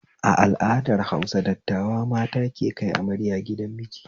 A al'adar Hausa, dattawa mata ke kai amarya gidan miji